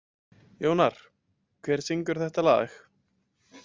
Jónar, hver syngur þetta lag?